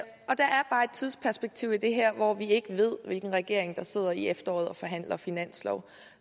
tidsperspektiv i det her hvor vi ikke ved hvilken regering der sidder til efteråret og forhandler finanslov